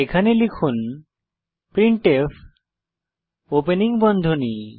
এখানে লিখুন printf opening বন্ধনী